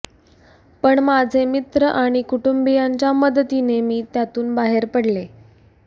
पण माझे मित्र आणि कुटुंबीयांच्या मदतीने मी त्यातून बाहेर पडले